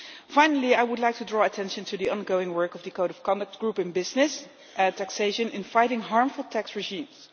Finally, I would like to draw attention to the ongoing work of the Code of Conduct Group on Business Taxation in fighting harmful tax regimes.